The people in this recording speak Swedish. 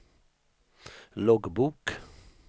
loggbok